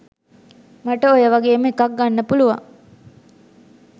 මට ඔය වගේම එකක් ගන්න පුලුවන්